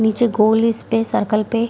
नीचे गोल space circle पे --